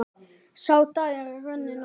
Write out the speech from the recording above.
Sá dagur er runninn upp.